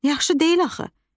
Yaxşı deyil axı.